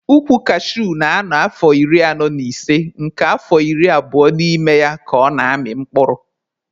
Ukwu kashuu na-anọ afọ iri anọ na ise nke afọ iri abụo n'ime ya ka ọ na-amị mkpụrụ.